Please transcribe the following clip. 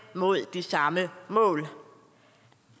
mod de samme mål